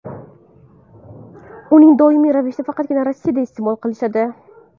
Uni doimiy ravishda faqatgina Rossiyada iste’mol qilishadi.